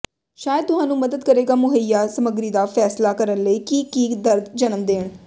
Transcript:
ਸ਼ਾਇਦ ਤੁਹਾਨੂੰ ਮਦਦ ਕਰੇਗਾ ਮੁਹੱਈਆ ਸਮੱਗਰੀ ਦਾ ਫੈਸਲਾ ਕਰਨ ਲਈ ਕਿ ਕੀ ਦਰਦ ਜਨਮ ਦੇਣ